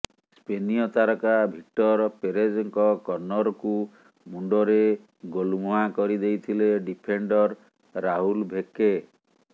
ସ୍ପେନୀୟ ତାରକା ଭିକ୍ଟର ପେରେଜଙ୍କ କର୍ନରକୁ ମୁଣ୍ଡରେ ଗୋଲ୍ମୁହାଁ କରି ଦେଇଥିଲେ ଡିଫେଣ୍ଡର ରାହୁଲ ଭେକେ